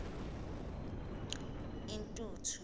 intuthu